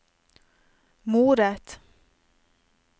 moret